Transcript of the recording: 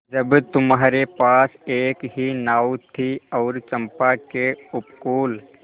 जब तुम्हारे पास एक ही नाव थी और चंपा के उपकूल